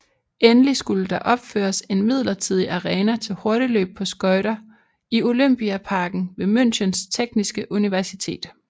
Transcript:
Endelig skulle der opføres en midlertidig arena til hurtigløb på skøjter i Olympiaparken ved Münchens Tekniske Universitet